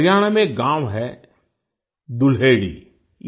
हरियाणा में एक गाँव है दुल्हेड़ी